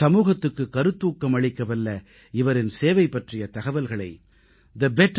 சமூகத்துக்குக் கருத்தூக்கம் அளிக்கவல்ல இவரின் சேவை பற்றிய தகவல்களை thebetterindia